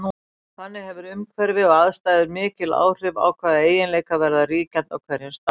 Þannig hefur umhverfi og aðstæður mikil áhrif á hvaða eiginleikar verða ríkjandi á hverjum stað.